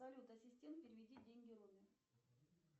салют ассистент переведи деньги роме